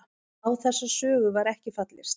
Á þessa sögu var ekki fallist